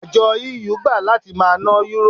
Àjọ EU gbà láti máa ná Yúrò.